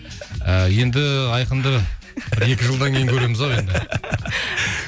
ыыы енді айқынды бір екі жылдан кейін көреміз ау енді